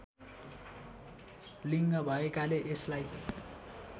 लिङ्ग भएकाले यसलाई